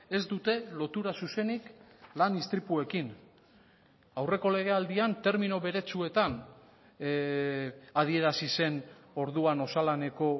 ez dute lotura zuzenik lan istripuekin aurreko legealdian termino beretsuetan adierazi zen orduan osalaneko